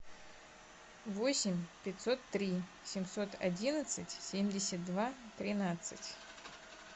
восемь пятьсот три семьсот одиннадцать семьдесят два тринадцать